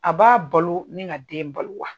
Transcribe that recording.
A b'a balo ni ka den balo wa.